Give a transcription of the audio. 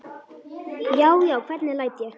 Já, já, hvernig læt ég!